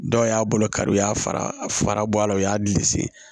Dɔw y'a bolo kari u y'a fara fara bɔ a la u y'a dili se